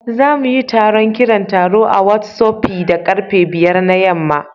Za mu yi taron kiran taro a Whottsopi da karfe 5 na yamma